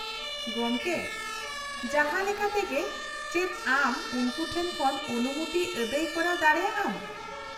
-ᱜᱚᱢᱠᱮ, ᱡᱟᱦᱟᱸ ᱞᱮᱠᱟ ᱛᱮᱜᱮ ᱪᱮᱫ ᱟᱢ ᱩᱱᱠᱩ ᱴᱷᱮᱱ ᱠᱷᱚᱱ ᱚᱱᱩᱢᱚᱛᱤ ᱟᱹᱫᱟᱹᱭ ᱠᱚᱨᱟᱣ ᱫᱟᱲᱮᱭᱟᱜ ᱟᱢ ᱾